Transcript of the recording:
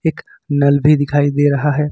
एक नल भी दिखाई दे रहा है।